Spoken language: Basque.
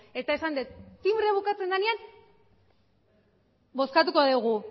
eta esan dut tinbrea bukatzen denean bozkatuko dugu